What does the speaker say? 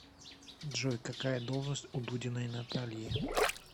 джой какая должность у дудиной натальи